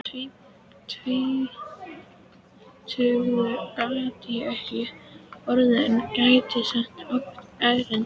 Tvítugur gat ég ekki orðið en gæti samt átt erindi.